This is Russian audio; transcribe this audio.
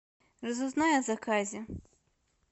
разузнай о заказе